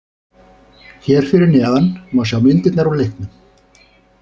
Hér fyrir neðan má sjá myndirnar úr leiknum.